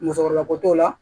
Musokɔrɔba ko t'o la